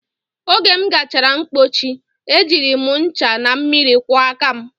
Oge m gachara mpochi, e jiri m ncha na mmiri kwọọ aka m